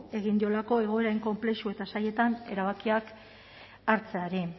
egin diolako egoera hain konplexu eta zailetan erabakiak hartzeari